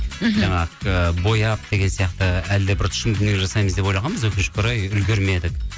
жаңа ы бояп деген сияқты әлі де бір тұшымды дүние жасаймыз деп ойлағанбыз өкінішке орай үлгірмедік